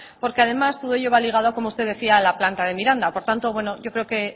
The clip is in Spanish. porque además todo ello va ligado como usted decía a la planta de miranda por lo tanto bueno yo creo que